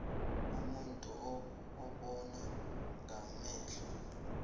umuntu ubona ngamehlo